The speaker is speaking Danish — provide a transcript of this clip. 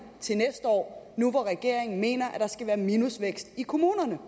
til næste år nu hvor regeringen mener at der skal være minusvækst i kommunerne